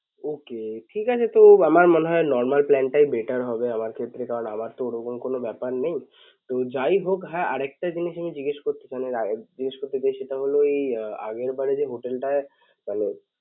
Ok ঠিকাছে তো আমার মনে হয় normal plan টাই better হবে আমার ক্ষেত্রে কারণ আমার তো ওরকম তো কোন ব্যাপার নেই তো যাইহোক হ্যাঁ আরেকটা জিনিস আমি জিজ্ঞেস করতে জিজ্ঞেস করতে চাই আগেরবারের